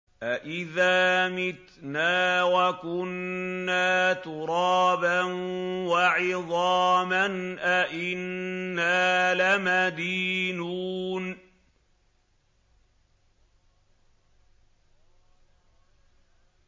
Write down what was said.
أَإِذَا مِتْنَا وَكُنَّا تُرَابًا وَعِظَامًا أَإِنَّا لَمَدِينُونَ